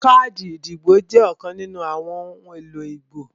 Káàdì ìdìbò jẹ́ ọ̀kan nínú àwọn ohun èlò ìbò